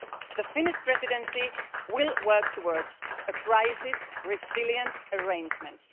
The Finnish Presidency will work towards crisis-resilient arrangements.